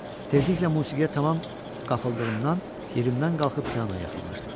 Tezliklə musiqiyə tamam qapıldığımdan yerimdən qalxıb pianoya yaxınlaşdım.